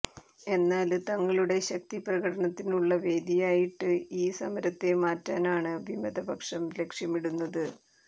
എന്നാല് തങ്ങളുടെ ശക്തി പ്രകടനത്തിനുള്ള വേദിയായിട്ട് ഈ സമരത്തെ മാറ്റാനാണ് വിമതപക്ഷം ലക്ഷ്യമിടുന്നത്